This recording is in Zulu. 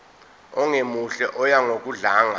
ongemuhle oya ngokudlanga